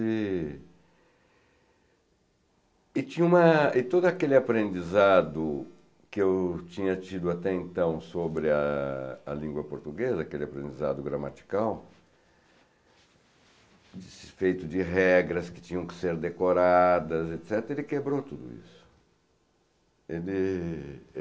E tinha uma todo aquele aprendizado que eu tinha tido até então sobre a a língua portuguesa, aquele aprendizado gramatical, feito de regras que tinham que ser decoradas, et cetera., ele quebrou tudo isso. Ele